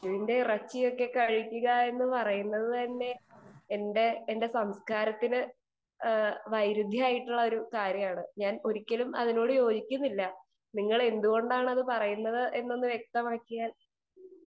Speaker 2 പശുവിന്റെ ഇറച്ചിയൊക്കെ കഴുകുക എന്നത് തന്നെ എന്റെ സംസ്കാരത്തിന് വൈരുധ്യമായിട്ടുള്ള കാര്യമാണ് ഞാൻ ഒരിക്കലും അതിനോട് യോജിക്കുന്നില്ല . നിങ്ങൾ എന്തുകൊണ്ടാണ് പറയുന്നത് എന്ന് വ്യക്തമാക്കിയാൽ